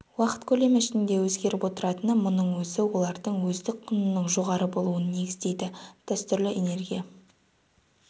уақыт көлемі ішінде өзгеріп отыратыны мұның өзі олардың өздік құнының жоғары болуын негіздейді дәстүрлі энергия